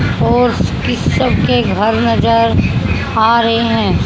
और फिर सब के घर नजर आ रहे हैं।